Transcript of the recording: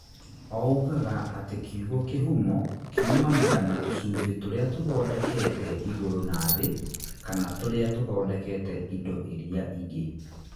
Ougaga atĩ kiugo kĩhumo kiumanaga na tũcunjĩ tũrĩa tũthondekete igũrũ na thĩ kana tũrĩa tũthondekete indo iria ingĩ.